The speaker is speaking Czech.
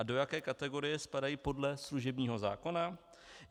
A do jaké kategorie spadají podle služebního zákona?